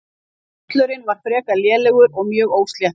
Völlurinn var frekar lélegur og mjög ósléttur.